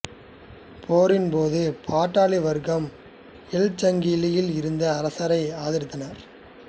போரின் போது பாட்டாளி வர்க்கம் எல்சங்கியில் இருந்த அரசையே ஆதரித்தனர்